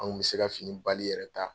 Anw kun bɛ se ka fini bali yɛrɛ ta,